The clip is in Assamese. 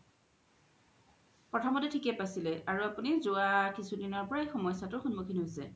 প্ৰথম্তে থিকে পাইচিলে আৰু আপুনি জুৱা কিচো দিনৰ পৰাই সমস্যা তু সন্মুখীন হৈছে